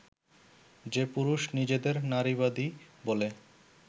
যে পুরুষ নিজেদের নারীবাদী বলে